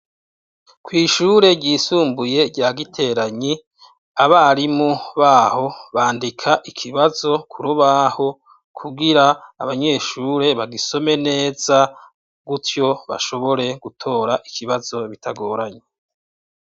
Kw'ishure ryisumbuye, rya Giteranyi, abarimu b'aho, bandika ikibazo ku rubaho; kugira abanyeshure, bagisome neza, gutyo, bashobore gutora ikibazo, bitagoranye.